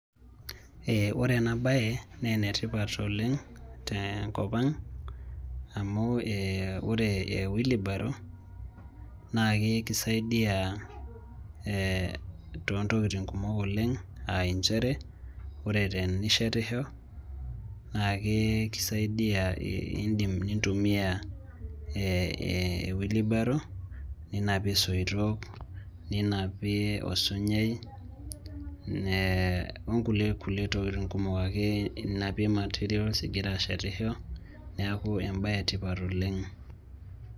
Ee ore ena baye naa enetipat oleng' tenko ang' amu ee ore e wheelbarrow naa kisaidia ee toontokitin kumok oleng' aa nchere ore tenishetisho naa kakisaidia iindim nintumiaa ee wheelbarrow ninapie isoitok ninapie osunyaai onkulie tokitin kumok ake inapie ina territ oshi igira ashetisho neeku embaye etipat oleng'.